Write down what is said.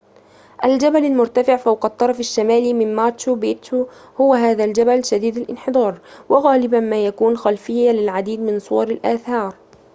الجبل المرتفع فوق الطرف الشمالي من ماتشو بيتشو هو هذا الجبل شديد الانحدار وغالباً ما يكون خلفية للعديد من صور الآثار